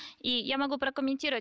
и я могу прокомментировать